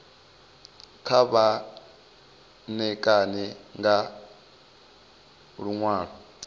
kha vha ṋekane nga luṅwalo